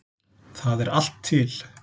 Það er allt til.